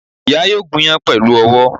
Ìyá yóò gúnyán pèlú owó